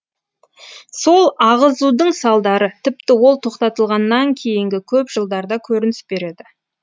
сол ағызудың салдары тіпті ол тоқтатылғаннан кейінгі көп жылдарда көрініс береді